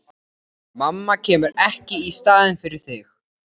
Mamma kemur ekki í staðinn fyrir þig.